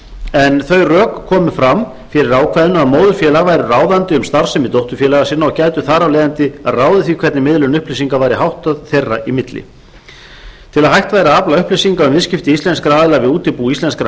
en þau rök komu fram fyrir ákvæðinu að móðurfélög væru ráðandi um starfsemi dótturfélaga sinna og gætu þar af leiðandi ráðið því hvernig miðlun upplýsinga væri háttað þeirra í milli til að hægt væri að afla upplýsinga um viðskipti íslenskra aðila við útibú íslenskra